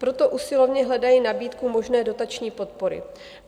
Proto usilovně hledají nabídku možné dotační podpory.